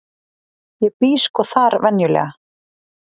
ég bý sko þar venjulega.